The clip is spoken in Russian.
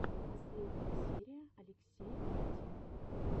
последняя серия алексея колотилова